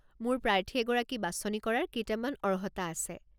মোৰ প্ৰাৰ্থী এগৰাকী বাচনি কৰাৰ কেইটামান অৰ্হতা আছে।